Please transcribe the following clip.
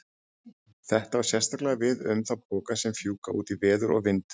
Þetta á sérstaklega við um þá poka sem fjúka út í veður og vind.